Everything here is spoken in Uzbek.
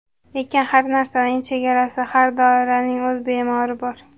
Lekin har narsaning chegarasi, har dorining o‘z bemori bor.